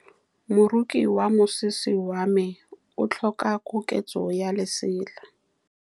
Moroki wa mosese wa me o tlhoka koketsô ya lesela.